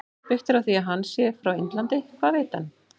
Byggt á því að hann sé frá Indlandi- Hvað veit hann?